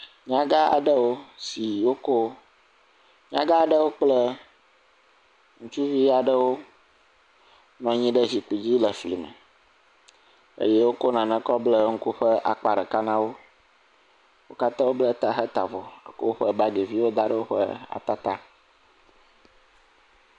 Nyagã aɖewo si wokɔ, nyagã aɖewo kple ŋutsuvi aɖewo nɔ anyi ɖe zikpui dzi le flime, eye wokɔ nane kɔ bla ŋku ƒe akpa ɖeka na wo, wo katã wobla ta he ta avɔ kɔ woƒe bagiviwo da ɖe ata ta.